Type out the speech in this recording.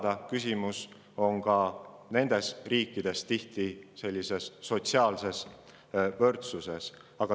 Ka nendes riikides on küsimus tihti sotsiaalses võrdsuses.